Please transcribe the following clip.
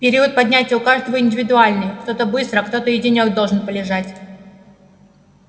период поднятия у каждого индивидуальный кто-то быстро а кто-то и денёк должен полежать